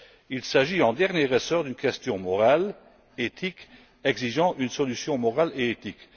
Il s'agit en dernier ressort d'une question morale, éthique exigeant une solution morale et éthique.